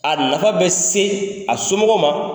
A nafa bɛ se a somɔgɔw ma.